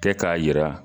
Kɛ k'a yira